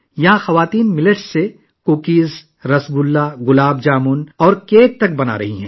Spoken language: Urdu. یہاں خواتین باجرے سے لے کر کوکیز، رسگلہ، گلاب جامن اور یہاں تک کہ کیک وغیرہ بھی بنا رہی ہیں